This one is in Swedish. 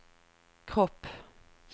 kropp